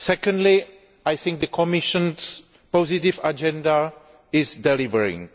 Secondly, I think the Commission's positive agenda is delivering.